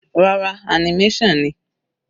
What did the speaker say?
Rárá, animation ni.